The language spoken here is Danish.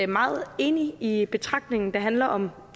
meget enig i betragtningen der handler om